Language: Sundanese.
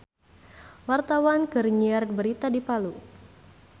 Wartawan keur nyiar berita di Palu